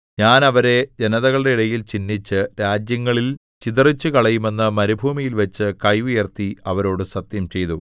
ഞാൻ അവരെ ജനതകളുടെ ഇടയിൽ ചിന്നിച്ച് രാജ്യങ്ങളിൽ ചിതറിച്ചുകളയുമെന്ന് മരുഭൂമിയിൽവച്ച് കൈ ഉയർത്തി അവരോടു സത്യംചെയ്തു